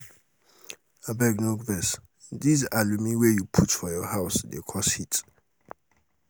abeg no vex dis um alumi wey you put um for your house dey cause heat.